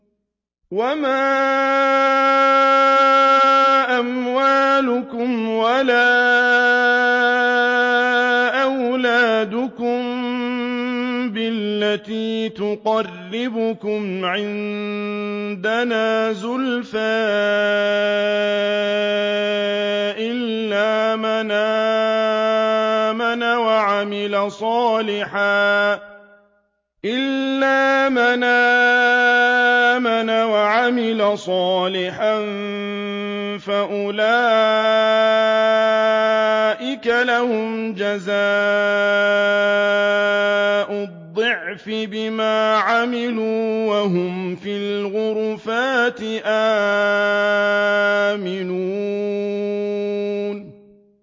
وَمَا أَمْوَالُكُمْ وَلَا أَوْلَادُكُم بِالَّتِي تُقَرِّبُكُمْ عِندَنَا زُلْفَىٰ إِلَّا مَنْ آمَنَ وَعَمِلَ صَالِحًا فَأُولَٰئِكَ لَهُمْ جَزَاءُ الضِّعْفِ بِمَا عَمِلُوا وَهُمْ فِي الْغُرُفَاتِ آمِنُونَ